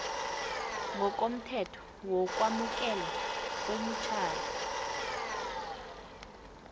ngokomthetho wokwamukelwa kwemitjhado